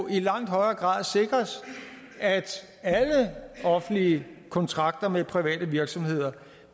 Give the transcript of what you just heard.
i langt højere grad sikres at alle offentlige kontrakter med private virksomheder